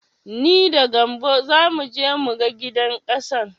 Ni da gambo zamu je mu ga gidan ƙasan.